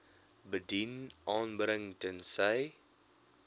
bedien aanbring tensy